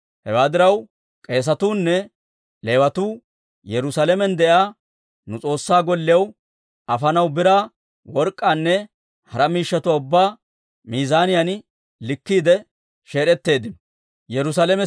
Hewaa diraw, K'eesetuunne Leewatuu Yerusaalamen de'iyaa nu S'oossaa Golliyaw afanaw biraa, work'k'aanne hara miishshatuwaa ubbaa miizaaniyaan likkiide sheed'etteeddino.